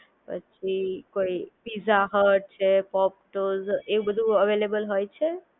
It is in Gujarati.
પછી કોઈ પીઝા હટ છે પોપટોસ એવું બધું હવે અવેલેબલ હોય છે